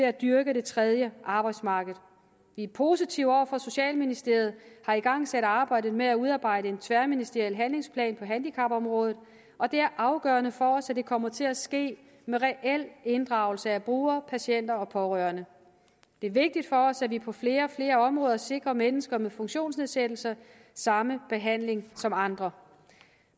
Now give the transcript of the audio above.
at dyrke det tredje arbejdsmarked vi er positive over for at socialministeriet har igangsat arbejdet med at udarbejde en tværministeriel handlingsplan på handicapområdet og det er afgørende for os at det kommer til at ske med reel inddragelse af brugere patienter og pårørende det er vigtigt for os at vi på flere og flere områder sikrer mennesker med funktionsnedsættelse samme behandling som andre